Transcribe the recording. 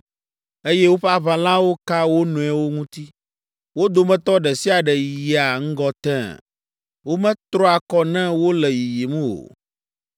eye woƒe aʋalawo ka wo nɔewo ŋuti. Wo dometɔ ɖe sia ɖe yia ŋgɔ tẽe; wometrɔa kɔ ne wole yiyim o.